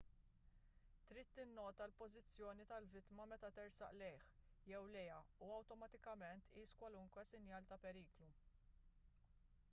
trid tinnota l-pożizzjoni tal-vittma meta tersaq lejh jew lejha u awtomatikament tqis kwalunkwe sinjal ta' periklu